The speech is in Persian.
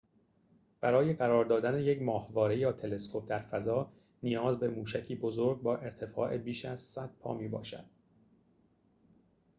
برای قرار دادن یک ماهواره یا تلسکوپ در فضا نیاز به موشکی بزرگ با ارتفاع بیش از ۱۰۰ پا می‌باشد